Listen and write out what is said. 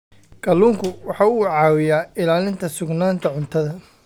Kalluunku waxa uu caawiyaa ilaalinta sugnaanta cuntada.